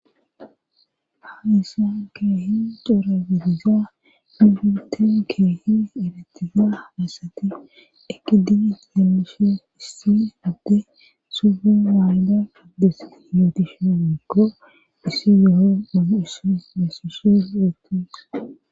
Ha issa keehin xoora bediza hihute keehin eratiza asati ekidigi lenbishes issi adde sugu waayda uddes yoo dishemikko issi yo7o on ussi mesushes etis